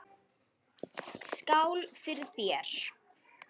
Skál fyrir þér.